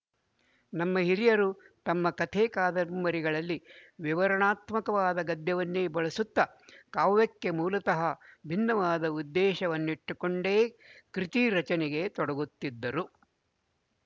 ನಮ್ಮ ಹಿರಿಯರು ತಮ್ಮ ಕಥೆಕಾದಂಬರಿಗಳಲ್ಲಿ ವಿವರಣಾತ್ಮಕವಾದ ಗದ್ಯವನ್ನೇ ಬಳಸುತ್ತ ಕಾವ್ಯಕ್ಕೆ ಮೂಲತಃ ಭಿನ್ನವಾದ ಉದ್ದೇಶವನ್ನಿಟ್ಟುಕೊಂಡೇ ಕೃತಿರಚನೆಗೆ ತೊಡಗುತ್ತಿದ್ದರು